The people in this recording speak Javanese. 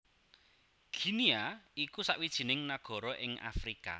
Guinea iku sawijining nagara ing Afrika